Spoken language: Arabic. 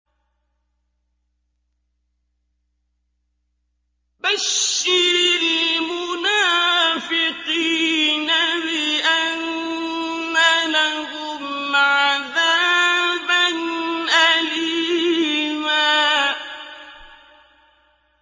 بَشِّرِ الْمُنَافِقِينَ بِأَنَّ لَهُمْ عَذَابًا أَلِيمًا